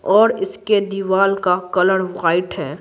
और इसके दीवार का कलर वाइट है।